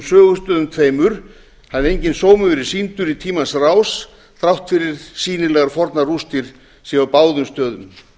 sögustöðum tveimur hafi enginn sómi verið sýndur í tímans rás þrátt fyrir sýnilegar fornar rústir séu á báðum stöðum